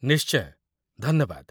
ନିଶ୍ଚୟ, ଧନ୍ୟବାଦ ।